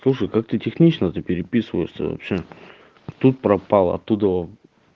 слушай как ты технично то переписываешься вообще тут пропала оттудова